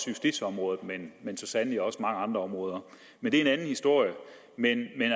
justitsområdet men så sandelig også mange andre områder men det er en anden historie men